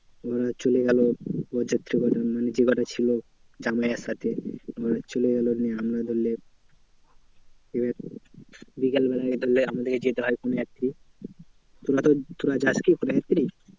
ওরা চলে গেলো বরযাত্রী কটা মানে যেকটা ছিল জামাইয়ের সাথে চলে গেলো নিয়ে। আমরা ধরলে এবার বিকেলবেলায় ধরলে আমাদেরকে যেতে হয় কনেযাত্রী। তোরা যাস কি কনেযাত্রী?